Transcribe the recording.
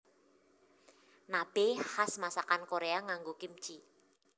Nabe khas masakan Korea nganggo kimchi